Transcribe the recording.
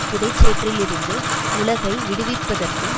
புதைசேற்றிலிருந்து உலகை விடுவிப்பதற்கும்